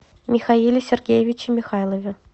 михаиле сергеевиче михайлове